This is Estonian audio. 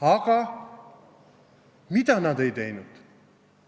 Aga mida nad ei teinud?